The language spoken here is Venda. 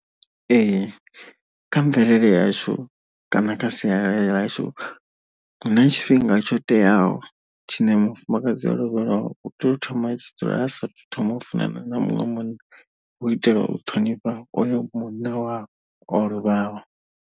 Ee, kha mvelele yashu kana kha sialala ḽashu hu na tshifhinga tsho teaho tshine mufumakadzi o lovhelwaho u tea u thoma tshi dzula asathu thoma u funana na muṅwe munna u itela u ṱhonifha oyo munna wawe o lovhaho.